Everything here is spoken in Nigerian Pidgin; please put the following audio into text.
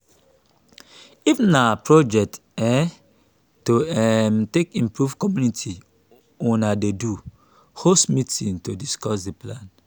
if na project um to um take improve community una dey do host meeting to discuss di plan